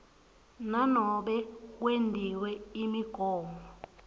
nanobe kwetiwe imigomo